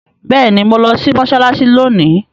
Béèni mọ lò sí Mossalassi lóni!